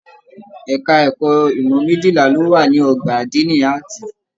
Ẹka ẹ̀kọ́ ìmọ mejila ló wà ní ọgbà adini Ààtì.